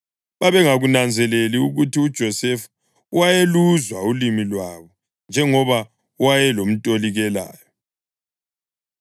Babengakunanzeleli ukuthi uJosefa wayeluzwa ulimi lwabo njengoba wayelomtolikelayo.